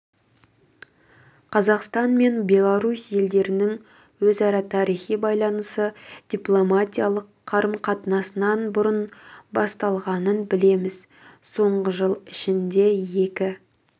қазақстан мен беларусь елдерінің өзара тарихи байланысы дипломатиялық қарым-қатынасынан бұрын басталғанын білеміз соңғы жыл ішінде екі